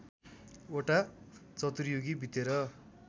वटा चतुर्युगी बितेर